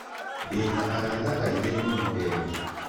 Ndĩ na arata aingĩ mũno ega.